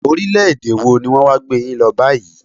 Orílẹ̀-èdè wọ ní wọn wá gbé yín lọ báyìí?